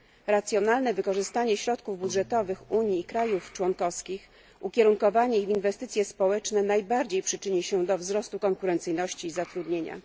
Racjonalne wykorzystanie środków budżetowych Unii i państw członkowskich, ukierunkowanie ich w inwestycje społeczne najbardziej przyczyni się do wzrostu konkurencyjności i zatrudnienia.